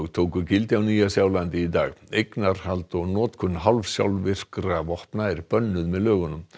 tóku gildi á Nýja Sjálandi í dag eignarhald og notkun hálfsjálfvirkra vopna er bönnuð með lögunum